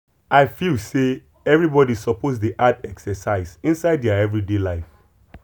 i feel say everybody suppose dey add exercise inside their everyday life.